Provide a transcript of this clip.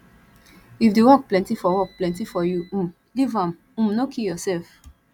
if the work plenty for work plenty for you um leave am um no kill yourself